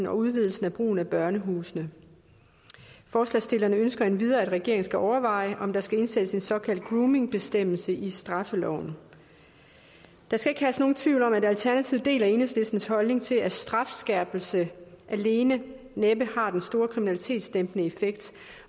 og udvidelse af brugen af børnehusene forslagsstillerne ønsker endvidere at regeringen skal overveje om der skal indsættes en såkaldt groomingbestemmelse i straffeloven der skal ikke herske nogen tvivl om at alternativet deler enhedslistens holdning til at strafskærpelse alene næppe har den store kriminalitetsdæmpende effekt